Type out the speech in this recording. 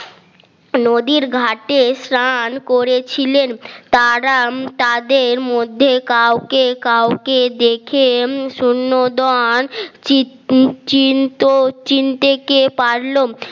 নদীর ঘাটে স্নান করেছিলেন তারা তাদের মধ্যে কাউকে কাউকে দেখে শূন্যদান চিনতে কে পারল